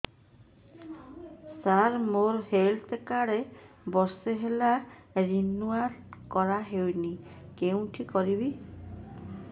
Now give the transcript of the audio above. ସାର ମୋର health card ବର୍ଷେ ହେଲା ରିନିଓ କରା ହଉନି କଉଠି କରିବି